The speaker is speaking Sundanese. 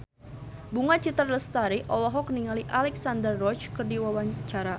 Bunga Citra Lestari olohok ningali Alexandra Roach keur diwawancara